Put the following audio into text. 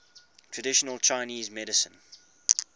traditional chinese medicine